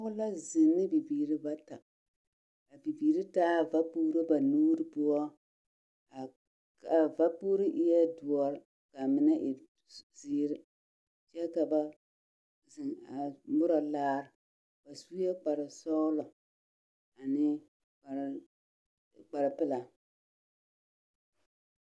Pɔɔ la zeŋ ne bibiiri bata, a bibiiri taa vapuuro ba nuur poɔ. A a vapuuri eɛɛ doɔr k'a mine e s... zeer, kyɛ ka ba zeŋ a morɔ laar. Ba sue kparsɔɔlɔ ane kpar kparpelaa.